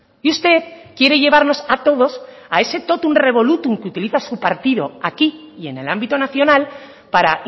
y usted quiere llevarnos a todos a ese totum revolutum que utiliza su partido aquí y en el ámbito nacional para